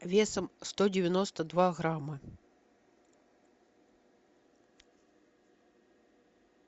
весом сто девяносто два грамма